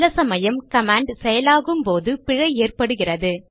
சில சமயம் கமாண்ட் செயலாகும் போது பிழை ஏற்படுகிறது